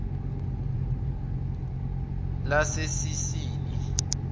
lasesini